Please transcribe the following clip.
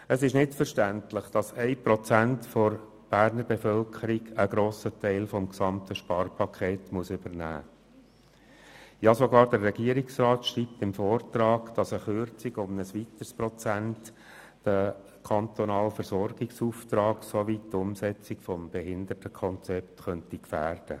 Es ist nicht verständlich, dass 1 Prozent der Berner Bevölkerung einen grossen Teil des gesamten Sparpakets übernehmen müssen, ja sogar der Regierungsrat schreibt im Vortrag, eine Kürzung um ein weiteres Prozent könnte den kantonalen Versorgungsauftrag sowie die Umsetzung des Behindertenkonzepts gefährden.